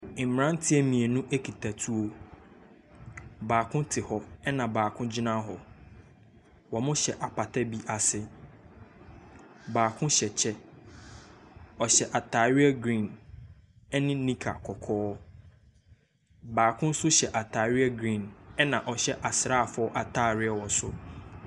Mmeranteɛ mmienu kita tuo. Baako te hɔ, ɛna baako gyina hɔ. Wɔhyɛ apata bi ase. Baako hyɛ kyɛ. Ɔhyɛ atadeɛ green ne nika kɔkɔɔ. Baako nso hyɛ atadeɛ green, ɛna ɔhyɛ asraafoɔ atadeɛ wɔ soro.